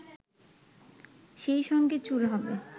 সেইসঙ্গে চুল হবে